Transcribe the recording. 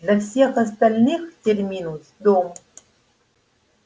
для всех остальных терминус дом